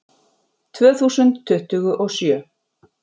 Tvö þúsund tuttugu og sjö